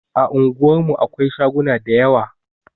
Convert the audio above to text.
A unguwar mu akwai shaguna da yawa